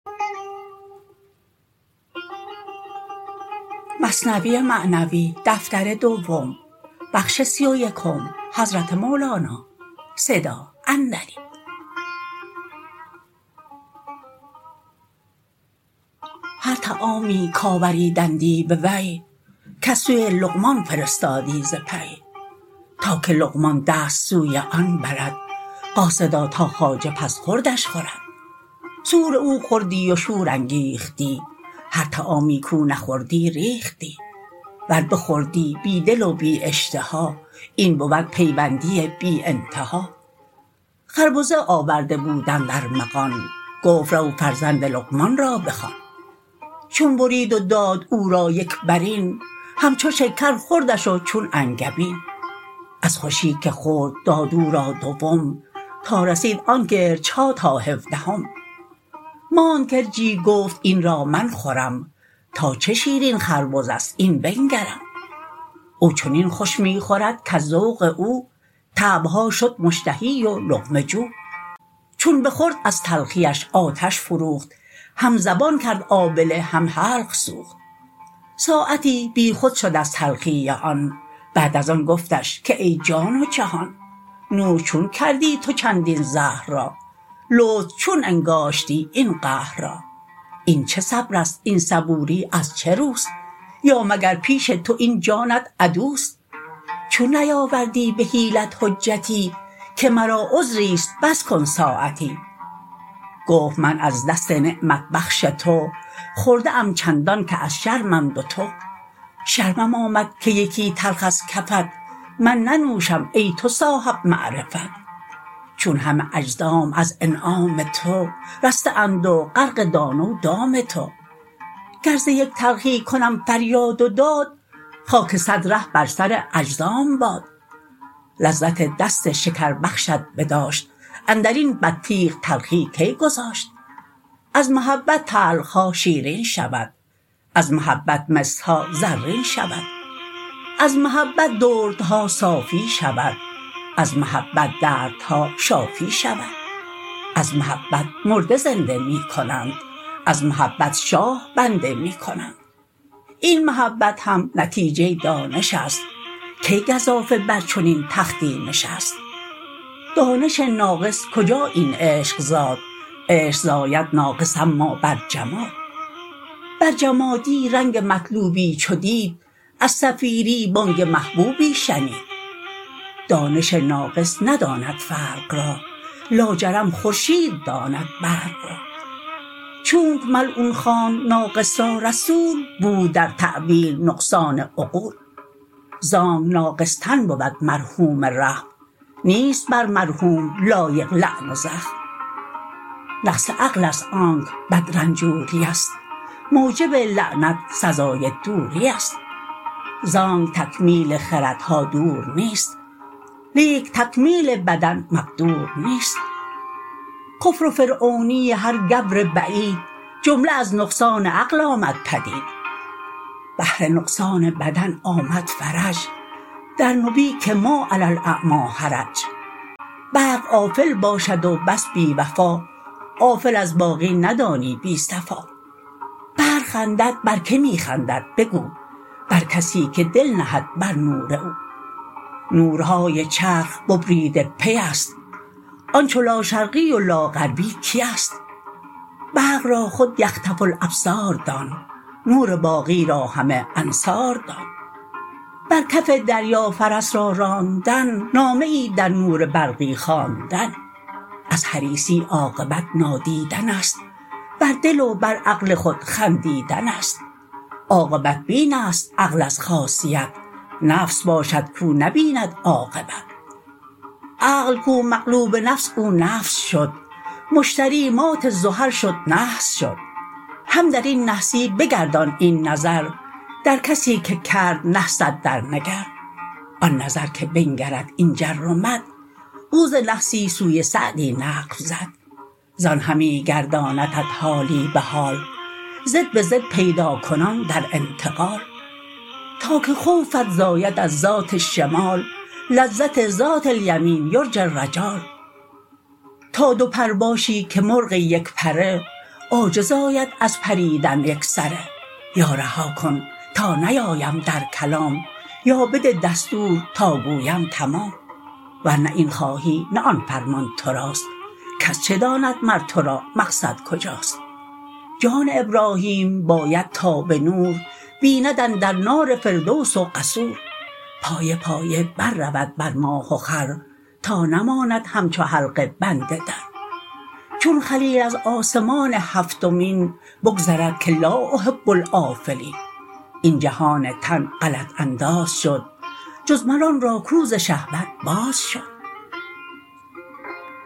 هر طعامی کآوریدندی به وی کس سوی لقمان فرستادی ز پی تا که لقمان دست سوی آن برد قاصدا تا خواجه پس خوردش خورد سؤر او خوردی و شور انگیختی هر طعامی کو نخوردی ریختی ور بخوردی بی دل و بی اشتها این بود پیوندی بی انتها خربزه آورده بودند ارمغان گفت رو فرزند لقمان را بخوان چون برید و داد او را یک برین همچو شکر خوردش و چون انگبین از خوشی که خورد داد او را دوم تا رسید آن گرچها تا هفدهم ماند گرچی گفت این را من خورم تا چه شیرین خربزه ست این بنگرم او چنین خوش می خورد کز ذوق او طبعها شد مشتهی و لقمه جو چون بخورد از تلخیش آتش فروخت هم زبان کرد آبله هم حلق سوخت ساعتی بی خود شد از تلخی آن بعد از آن گفتش که ای جان و جهان نوش چون کردی تو چندین زهر را لطف چون انگاشتی این قهر را این چه صبرست این صبوری ازچه روست یا مگر پیش تو این جانت عدوست چون نیاوردی به حیلت حجتی که مرا عذریست بس کن ساعتی گفت من از دست نعمت بخش تو خورده ام چندان که از شرمم دوتو شرمم آمد که یکی تلخ از کفت من ننوشم ای تو صاحب معرفت چون همه اجزام از انعام تو رسته اند و غرق دانه و دام تو گر ز یک تلخی کنم فریاد و داد خاک صد ره بر سر اجزام باد لذت دست شکربخشت بداشت اندرین بطیخ تلخی کی گذاشت از محبت تلخها شیرین شود از محبت مسها زرین شود از محبت دردها صافی شود از محبت دردها شافی شود از محبت مرده زنده می کنند از محبت شاه بنده می کنند این محبت هم نتیجه دانشست کی گزافه بر چنین تختی نشست دانش ناقص کجا این عشق زاد عشق زاید ناقص اما بر جماد بر جمادی رنگ مطلوبی چو دید از صفیری بانگ محبوبی شنید دانش ناقص نداند فرق را لاجرم خورشید داند برق را چونک ملعون خواند ناقص را رسول بود در تاویل نقصان عقول زانک ناقص تن بود مرحوم رحم نیست بر مرحوم لایق لعن و زخم نقص عقلست آن که بد رنجوریست موجب لعنت سزای دوریست زانک تکمیل خردها دور نیست لیک تکمیل بدن مقدور نیست کفر و فرعونی هر گبر بعید جمله از نقصان عقل آمد پدید بهر نقصان بدن آمد فرج در نبی که ما علی الاعمی حرج برق آفل باشد و بس بی وفا آفل از باقی ندانی بی صفا برق خندد بر کی می خندد بگو بر کسی که دل نهد بر نور او نورهای چرخ ببریده پیست آن چو لا شرقی و لا غربی کیست برق را خو یخطف الابصار دان نور باقی را همه انصار دان بر کف دریا فرس را راندن نامه ای در نور برقی خواندن از حریصی عاقبت نادیدنست بر دل و بر عقل خود خندیدنست عاقبت بینست عقل از خاصیت نفس باشد کو نبیند عاقبت عقل کو مغلوب نفس او نفس شد مشتری مات زحل شد نحس شد هم درین نحسی بگردان این نظر در کسی که کرد نحست در نگر آن نظر که بنگرد این جر و مد او ز نحسی سوی سعدی نقب زد زان همی گرداندت حالی به حال ضد به ضد پیداکنان در انتقال تا که خوفت زاید از ذات الشمال لذت ذات الیمین یرجی الرجال تا دو پر باشی که مرغ یک پره عاجز آید از پریدن ای سره یا رها کن تا نیایم در کلام یا بده دستور تا گویم تمام ورنه این خواهی نه آن فرمان تراست کس چه داند مر ترا مقصد کجاست جان ابراهیم باید تا به نور بیند اندر نار فردوس و قصور پایه پایه بر رود بر ماه و خور تا نماند همچو حلقه بند در چون خلیل از آسمان هفتمین بگذرد که لا احب الافلین این جهان تن غلط انداز شد جز مر آن را کو ز شهوت باز شد